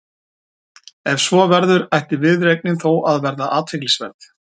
Ef svo verður ætti viðureignin þó að vera athyglisverð.